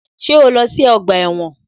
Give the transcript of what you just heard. Ṣé o lọ sí ọgbà ẹ̀wọ̀n?